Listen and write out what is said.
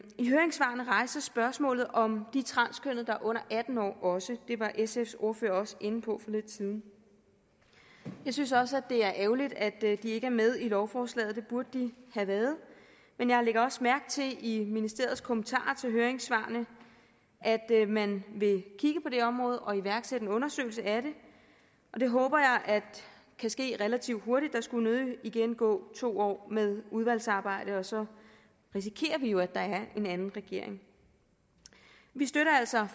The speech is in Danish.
i høringssvarene rejses spørgsmålet om de transkønnede der er under atten år også det var sfs ordfører også inde på lidt siden jeg synes også at det er ærgerligt at de ikke er med i lovforslaget det burde de have været men jeg lægger også mærke til i ministeriets kommentarer til høringssvarene at man vil kigge på det område og iværksætte en undersøgelse af det og det håber jeg kan ske relativt hurtigt der skulle nødig igen gå to år med udvalgsarbejdet og så risikerer vi jo at der er en anden regering vi støtter altså